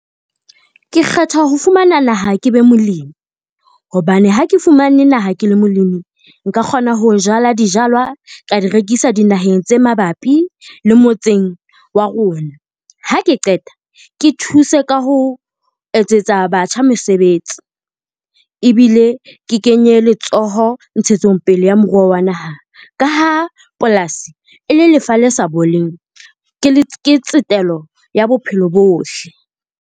Ke kgetha ho fumana naha ke be molemi, hobane ha ke fumane naha ke le molemi nka kgona ho jala dijalo ka di rekisa di naheng tse mabapi le motseng wa rona. Ha ke qeta ke thuse ka ho etsetsa batjha mesebetsi, ebile ke kenye letsoho ntshetsongpele ya moruo wa naha. Ka ha polasi e le lefa le sa boleng ke tsetelo ya bophelo bohle.